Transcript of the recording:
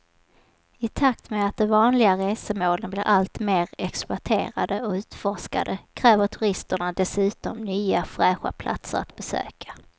I takt med att de vanliga resmålen blir allt mer exploaterade och utforskade kräver turisterna dessutom nya fräscha platser att besöka.